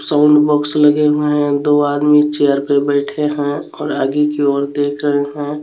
Sound box लगे हुए हैं दो आदमी चेयर पे बैठे हैं और आगे की ओर देख रहे है.